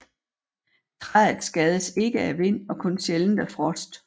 Træet skades ikke af vind og kun sjældent af frost